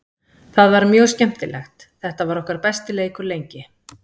Það var mjög skemmtilegt, þetta var okkar besti leikur lengi.